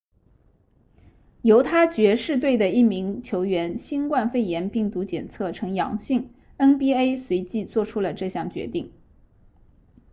犹他爵士队的一名球员新冠肺炎病毒检测呈阳性 nba 随即做出了这项决定